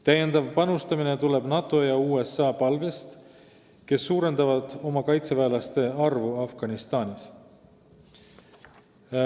Täiendav panustamine tuleb NATO ja USA palvest, kes suurendavad oma kaitseväelaste arvu Afganistanis.